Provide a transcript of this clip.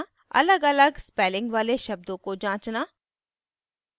अलगअलग spelling वाले शब्दों को जांचना